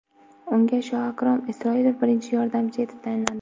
Unga Shoakrom Isroilov birinchi yordamchi etib tayinlandi .